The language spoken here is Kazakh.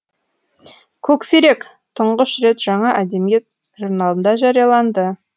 көксерек тұңғыш рет жаңа әдебиет журналында жарияланды